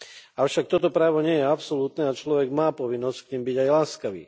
Avšak toto právo nie je absolútne a človek má povinnosť k nim byť aj láskavý.